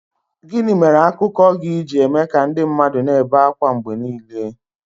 Gịnị mere akụkọ gị ji eme ka ndị mmadụ na-ebe ákwá mgbe niile?